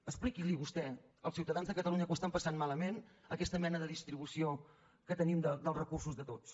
expliqui vostè als ciutadans de catalunya que ho estan passant malament aquesta mena de distribució que tenim dels recursos de tots